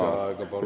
Palun!